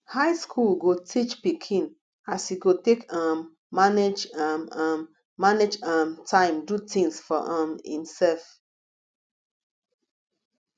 high school go teach pikin as e go take um manage um um manage um time do things for um himself